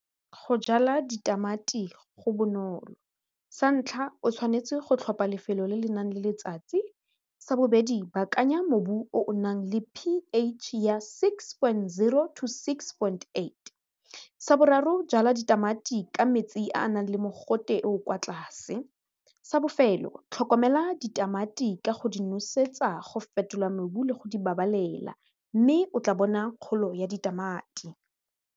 Go jala ditamati go bonolo sa ntlha o tshwanetse go tlhopha lefelo le le nang le letsatsi, sa bobedi baakanya mobu o o nang le P_H ya six point zero to six point eight, sa boraro jala ditamati ka metsi a a nang le mogote o o kwa tlase, sa bofelo tlhokomela ditamati ka go di nosetsa go fetola mobu le go di babalela mme o tla bona kgolo ya ditamati.